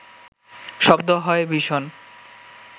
শব্দ হয় ভীষণ